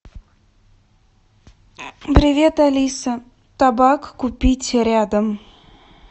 привет алиса табак купить рядом